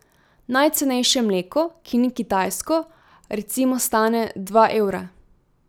Najcenejše mleko, ki ni kitajsko, recimo stane dva evra.